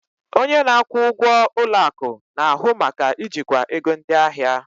Onye na-akwụ ụgwọ ụlọ akụ na-ahụ maka ijikwa ego ndị ahịa.